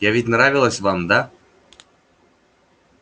я ведь нравилась вам да